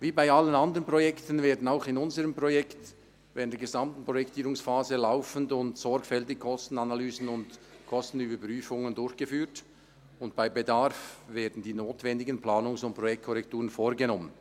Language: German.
Wie bei allen anderen Projekten werden auch in unserem Projekt während der gesamten Projektierungsphase laufend und sorgfältig Kostenanalysen und -überprüfungen durchgeführt und bei Bedarf die notwendigen Planungs- und Projektkorrekturen vorgenommen.